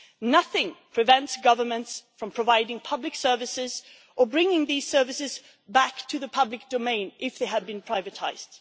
nothing prevents governments from providing public services or bringing these services back to the public domain if they have been privatised